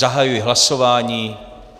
Zahajuji hlasování.